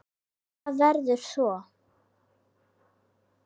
Hvað verður svo?